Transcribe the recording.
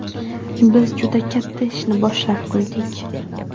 Biz juda katta ishni boshlab qo‘ydik.